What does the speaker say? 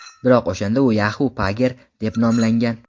Biroq o‘shanda u Yahoo Pager deb nomlangan.